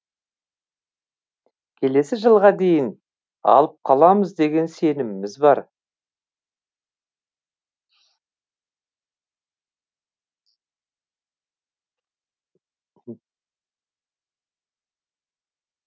келесі жылға дейін алып қаламыз деген сеніміміз бар